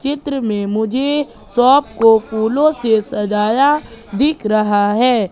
चित्र में मुझे शॉप को फूलों से सजाया दिख रहा है।